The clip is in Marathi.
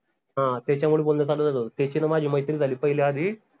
हां त्याच्यामुड बोलन चालू झालं होत त्याची न माझी मैत्री झाली पहिले आधी